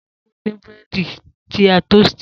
Ta ló fún ẹ ní Búrẹ́dì ti a tosítì?